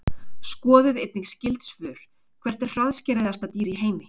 Skoðið einnig skyld svör: Hvert er hraðskreiðasta dýr í heimi?